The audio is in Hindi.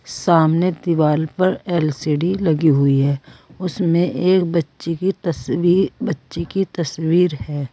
सामने दीवार पर एल_सी_डी लगी हुई है उसमें एक बच्चे की तस्वीर बच्चों की तस्वीर है।